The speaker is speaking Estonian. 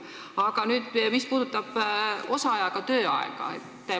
Aga minu küsimus puudutab osaajaga töötamist.